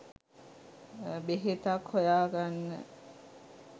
බෙහෙතක් හොයාගන්න